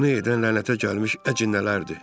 Bunu edən lənətə gəlmiş əcinnələrdir.